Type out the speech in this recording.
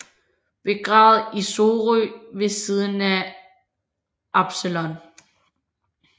Begravet i Sorø ved siden af Absalon